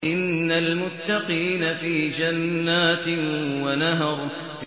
إِنَّ الْمُتَّقِينَ فِي جَنَّاتٍ وَنَهَرٍ